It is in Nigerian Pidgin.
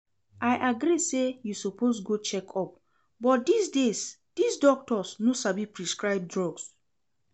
I agree say you suppose go check-up but dis days dis doctors no sabi prescribe drug